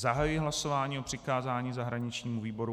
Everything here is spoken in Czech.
Zahajuji hlasování o přikázání zahraničnímu výboru.